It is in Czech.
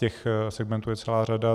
Těch segmentů je celá řada.